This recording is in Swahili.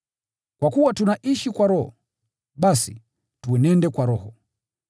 Kwa kuwa tunaishi kwa Roho, basi, tuenende kwa Roho.